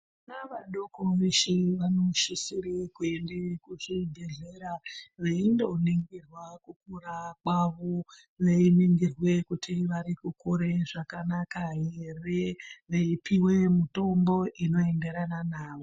Vana vadoko veshe vanosisire kuende kuchibhedhlera veindoningirwa kukura kwavo veiningirwe kuti varikukura zvakanaka here veipihwe mutombo inoenderana navo.